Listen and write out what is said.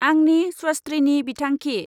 आंनि स्वस्थ्रिनि बिथांखि।